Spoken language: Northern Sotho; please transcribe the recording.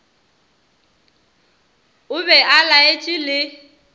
o be o laetše le